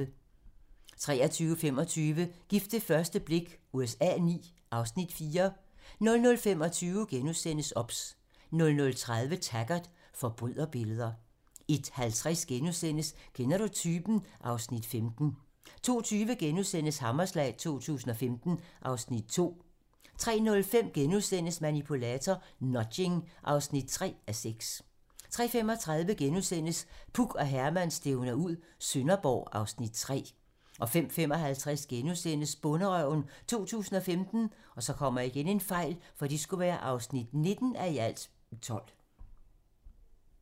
23:25: Gift ved første blik USA IX (Afs. 4) 00:25: OBS * 00:30: Taggart: Forbryderbilleder 01:50: Kender du typen? (Afs. 15)* 02:20: Hammerslag 2015 (Afs. 2)* 03:05: Manipulator - Nudging (3:6)* 03:35: Puk og Herman stævner ud - Sønderborg (Afs. 3)* 05:55: Bonderøven 2015 (19:12)*